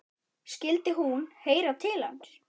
Skyldi hún heyra til hans?